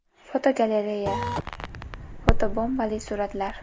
Fotogalereya: Fotobombali suratlar.